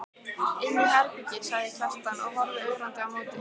Inni í herbergi, sagði Kjartan og horfði ögrandi á móti.